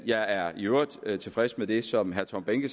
jeg er i øvrigt tilfreds med det som herre tom behnke